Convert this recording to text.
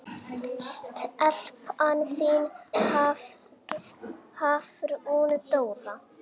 Stelpan þín, Hafrún Dóra.